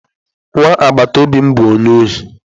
Nwa agbataobi m bu onye ohi?